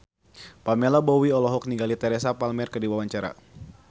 Pamela Bowie olohok ningali Teresa Palmer keur diwawancara